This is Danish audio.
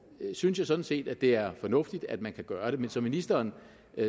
synes jeg sådan set at det er fornuftigt at man kan gøre det men som ministeren